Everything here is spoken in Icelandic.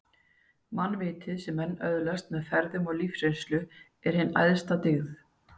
Mannvitið, sem menn öðlast með ferðum og lífsreynslu, er hin æðsta dyggð